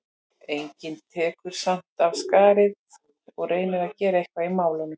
Enginn tekur samt af skarið og reynir að gera eitthvað í málinu.